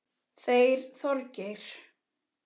Þeir Þorgeir